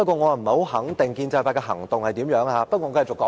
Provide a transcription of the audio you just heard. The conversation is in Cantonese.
我不肯定建制派有何行動，但我會繼續發言。